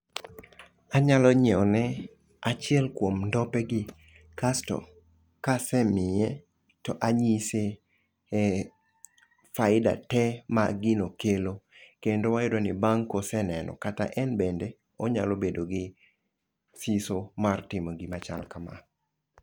Anyalo nyiewo ne achiel kuom ndope gi kasto kasemiye to anyise e faida te ma gino kelo kendo wayudo ni bang' koseneno kata en bende onyalo bedo gi siso mar timo gima chal kama.